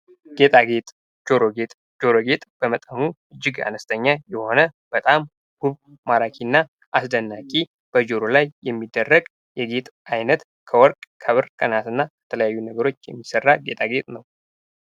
ጌጣጌጥ ጆሮ ጌጥ ጆሮ ጌጥ በመጠኑ እጅግ አነስተኛ የሆነ በጣም ውብ ማራኪና አስደናቂ በጆሮ ላይ የሚደረግ የጌጥ ዓይነት ከወርቅ ፣ከብር ፣ ከነሀስና የተለያዩ ነገሮች የሚሠራ ጌጣጌጥ ነው።